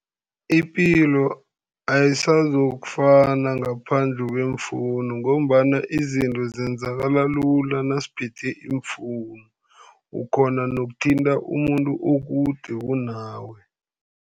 Ipilo ayisazokufana ngaphandle kweemfowunu, ngombana izinto zenzakala lula nasiphethe iimfowunu. Ukghona nokuthinta umuntu okude kunawe.